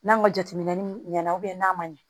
N'an ka jateminɛ ɲɛna n'a ma ɲɛ